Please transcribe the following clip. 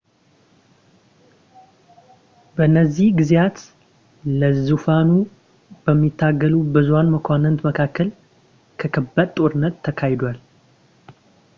በእነዚህ ጊዜያት ለዙፋኑ በሚታገሉ በብዙ መኳንንት መካከል ከባድ ጦርነት ተካሂዷል